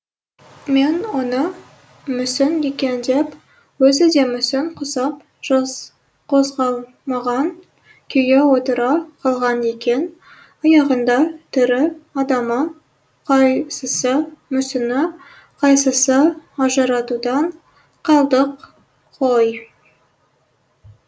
мен оны мүсін екен деп өзі де мүсін құсап қозғалмаған күйі отыра қалған екен аяғында тірі адамы қайсысы мүсіні қайсысы ажыратудан қалдық қой